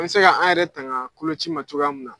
An bɛ se ka an yɛrɛ tanga kloci ma cogoya min na.